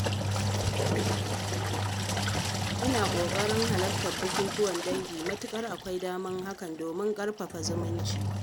Ina ƙoƙarin halartar bukukuwan dangi matuƙar akwai damar hakan domin ƙarfafa zumunci.